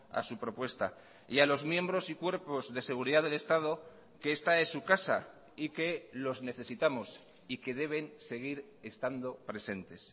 a su propuesta y a los miembros y cuerpos de seguridad del estado que esta es su casa y que los necesitamos y que deben seguir estando presentes